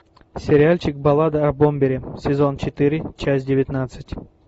сериальчик баллада о бомбере сезон четыре часть девятнадцать